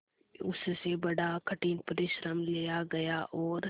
उससे बड़ा कठिन परिश्रम लिया गया और